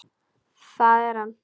Það er hann.